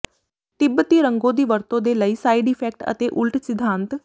ਤਿੱਬਤੀ ਰੰਗੋ ਦੀ ਵਰਤੋਂ ਦੇ ਲਈ ਸਾਈਡ ਇਫੈਕਟਸ ਅਤੇ ਉਲਟ ਸਿਧਾਂਤ